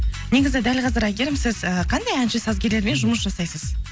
негізі дәл қазір әйгерім сіз і қандай әнші сазгерлермен жұмыс жасайсыз